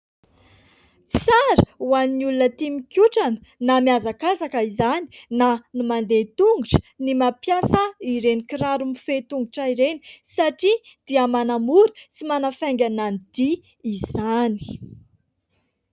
Tsara ho an'ny olona tia mikotrana (na mihazakazaka izany, na ny mandeha tongotra) ny mampiasa ireny kiraro mifehy tongotra ireny; satria dia manamora sy manafaingana ny dia izany.